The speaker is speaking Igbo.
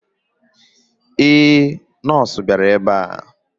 Ee, nọọsụ bịara ebe a.